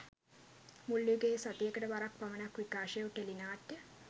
මුල් යුගයේ සතියකට වරක් පමණක් විකාශය වූ ටෙලි නාට්‍ය